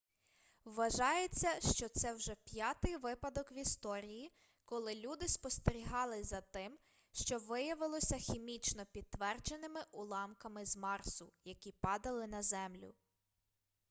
вважається що це вже п'ятий випадок в історії коли люди спостерігали за тим що виявилося хімічно підтвердженими уламками з марсу які падали на землю